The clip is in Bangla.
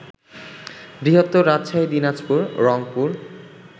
বৃহত্তর রাজশাহী, দিনাজপুর, রংপুর